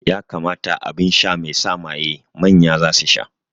Ƴa kamata aɓinsha mai sa maye manya zasu sha.